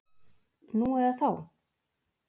Nú eða þá?